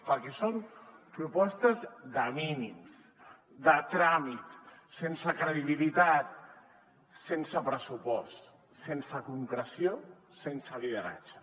perquè són propostes de mínims de tràmit sense credibilitat sense pressupost sense concreció sense lideratge